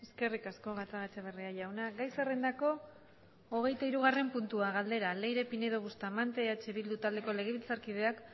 eskerrik asko gatzagaetxebarria jauna gai zerrendako hogeitahirugarren puntua galdera leire pinedo bustamante eh bildu taldeko legebiltzarkideak